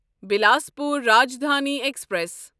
Bilaspur Rajdhani express